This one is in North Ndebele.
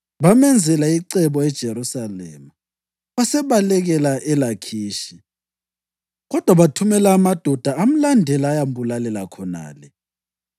Bamenzela icebo eJerusalema, wasebalekela eLakhishi, kodwa bathumela amadoda amlandela ayambulalela khonale.